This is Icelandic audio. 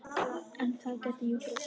En það gæti jú breyst!